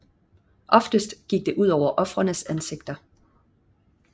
Oftest gik det ud over ofrenes ansigter